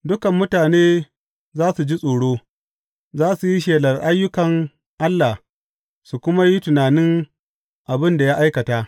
Dukan mutane za su ji tsoro; za su yi shelar ayyukan Allah su kuma yi tunanin abin da ya aikata.